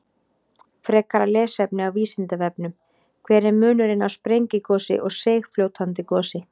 Frekara lesefni á Vísindavefnum: Hver er munurinn á sprengigosi og seigfljótandi gosi?